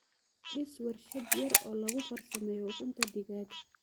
Dhis warshad yar oo lagu farsameeyo ukunta digaagga.